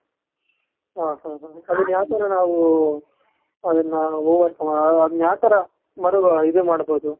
ಹಾ ಹಾ ಅದುನ್ನ ಯಾವ್ ತರ ನಾವು, ಅದುನ್ನover ಸಮ ಅದುನ್ನ ಯಾವ್ ತರ ಮರುಗು ಇದುನ್ನ ಮಾಡ್ಬಹುದು.